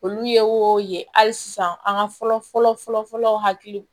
Olu ye o ye hali sisan an ka fɔlɔ fɔlɔ fɔlɔ fɔlɔ hakili